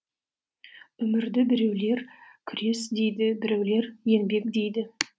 өмірді біреулер күрес дейді біреулер еңбек дейді